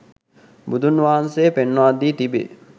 බුදුන් වහන්සේ පෙන්වා දී තිබේ.